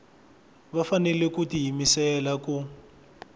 va fanele ku tiyimisela ku